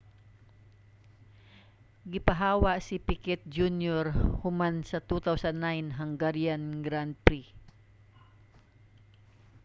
gipahawa si picquet jr. human sa 2009 hungarian grand prix